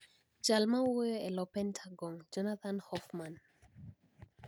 Jal mawuoyo e lo Pentagon, Jonathan Hoffman